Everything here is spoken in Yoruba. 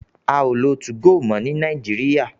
A o lo tu-go mo ni Nàìjíríà